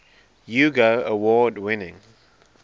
hugo award winning